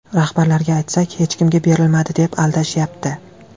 Rahbarlarga aytsak, hech kimga berilmadi, deb aldashyapti.